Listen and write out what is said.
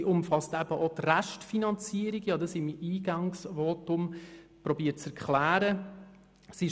sie umfasst eben auch die Restfinanzierung, wie ich dies in meinem Eingangsvotum zu erklären versucht habe.